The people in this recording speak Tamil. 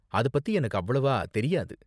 அது பத்தி எனக்கு அவ்வளவா தெரியாது.